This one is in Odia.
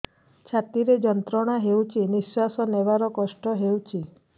ଛାତି ରେ ଯନ୍ତ୍ରଣା ହେଉଛି ନିଶ୍ଵାସ ନେବାର କଷ୍ଟ ହେଉଛି